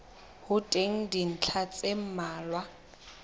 ho teng dintlha tse mmalwa